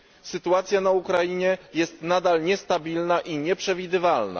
Sytuacja na Ukrainie jest nadal niestabilna i nieprzewidywalna.